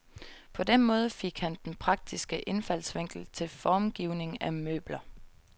På den måde fik han den praktiske indfaldsvinkel til formgivning af møbler.